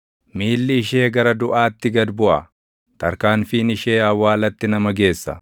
Miilli ishee gara duʼaatti gad buʼa; tarkaanfiin ishee awwaalatti nama geessa.